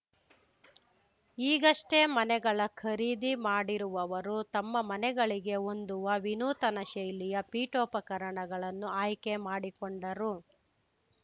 ಈಗಷ್ಟೇ ಮನೆಗಳ ಖರೀದಿ ಮಾಡಿರುವವರು ತಮ್ಮ ಮನೆಗಳಿಗೆ ಹೊಂದುವ ವಿನೂತನ ಶೈಲಿಯ ಪೀಠೋಪಕರಣಗಳನ್ನು ಆಯ್ಕೆ ಮಾಡಿಕೊಂಡರು